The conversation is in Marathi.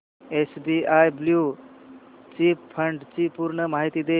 एसबीआय ब्ल्यु चिप फंड ची पूर्ण माहिती दे